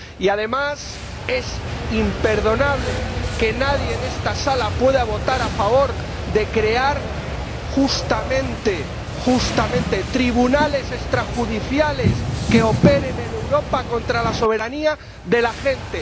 Y, además, es imperdonable que alguien en esta Cámara pueda votar a favor de crear justamente, justamente, tribunales extrajudiciales que operen en Europa contra la soberanía de la gente.